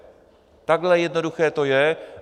Takhle jednoduché to je.